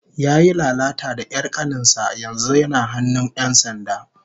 Yayi lalata da 'yar kanin sa, yanzu yana hannun 'yan sanda